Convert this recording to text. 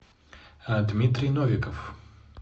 дмитрий новиков